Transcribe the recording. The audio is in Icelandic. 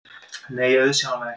Nei, auðsjáanlega ekki.